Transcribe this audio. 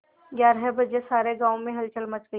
ग्यारह बजे सारे गाँव में हलचल मच गई